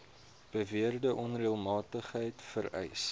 beweerde onreëlmatigheid vereis